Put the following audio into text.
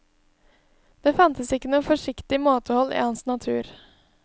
Det fantes ikke noe forsiktig måtehold i hans natur.